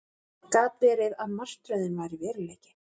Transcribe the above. Gat verið að martröðin væri veruleiki?